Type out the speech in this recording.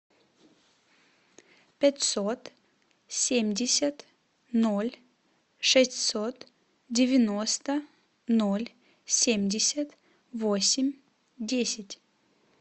пятьсот семьдесят ноль шестьсот девяносто ноль семьдесят восемь десять